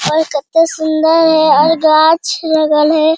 और कत्ते सूंदर हेय और गाछ लगल हेय।